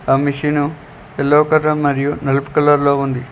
ఆ machine yellow colour మరియు నలుపు కలర్ లో ఉంది.